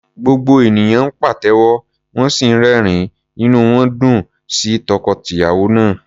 Gbogbo ènìyàn ń pàtẹ́wọ́, wọ́n sì ń rẹ́rìn-ín, inú wọn dùn sí tọkọ-tìyàwó náà.